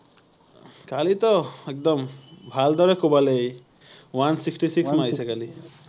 কালি তো একদম ভালদৰে কোবালে সি৷ one sixty six মান হৈছে কালি